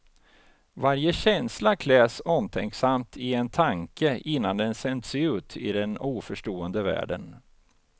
Varje känsla kläs omtänksamt i en tanke innan den sänds ut i den oförstående världen.